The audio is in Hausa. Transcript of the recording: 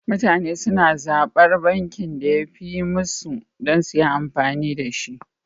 Mutane suna zaɓar bankin da yafi yi musu dan suyi amfani dashi